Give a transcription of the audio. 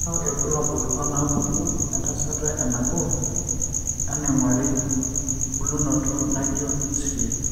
Kainyio irbulabul onaapuku entasato enabo enaing'ori bulunoto naijio Insulin.